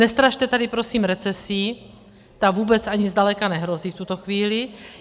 Nestrašte tady prosím recesí, ta vůbec ani zdaleka nehrozí v tuto chvíli.